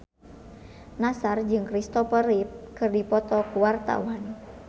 Nassar jeung Kristopher Reeve keur dipoto ku wartawan